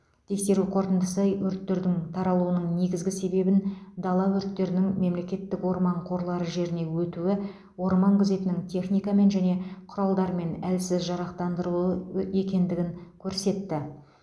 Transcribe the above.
тексеру қорытындысы өрттердің таралуының негізгі себебін дала өрттерінің мемлекеттік орман қорлары жеріне өтуі орман күзетінің техникамен және құралдармен әлсіз жарақтандырылуы екендігін көрсетті